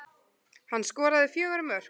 Hann skoraði fjögur mörk